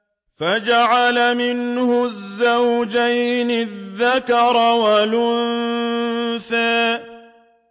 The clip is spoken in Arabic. فَجَعَلَ مِنْهُ الزَّوْجَيْنِ الذَّكَرَ وَالْأُنثَىٰ